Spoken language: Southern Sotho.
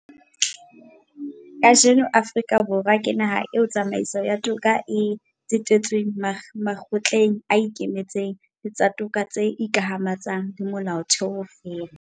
Kajeno Afrika Borwa ke naha eo tsamaiso ya toka e tsetetsweng makgotleng a ikemetseng le tsa toka tse ikamahantshang le Molaotheo feela.